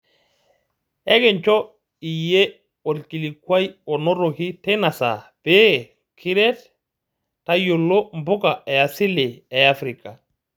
Ekincho iyie olkilikuai onotoki teina saape pee kiret tayiolo mpuka e asili e Afrika.